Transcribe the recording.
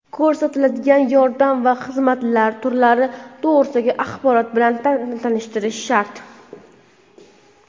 ko‘rsatiladigan yordam va xizmatlar turlari to‘g‘risidagi axborot bilan tanishtirishi shart.